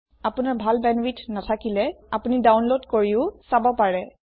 আপোনাৰ ভাল বেন্দৱিথ নাথাকিলে আপোনি ডাউনলোদ কৰিও চাব পাৰে